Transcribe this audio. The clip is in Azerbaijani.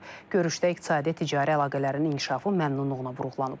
Görüşdə iqtisadi-ticari əlaqələrin inkişafı məmnunluqla vurğulanıb.